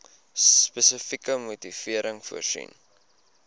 spesifieke motivering voorsien